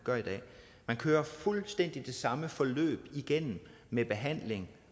kører fuldstændig det samme forløb igennem med behandling